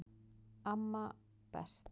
Amma best